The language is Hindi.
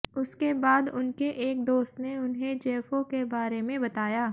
उसके बाद उनके एक दोस्त ने उन्हें जेफो के बारे में बताया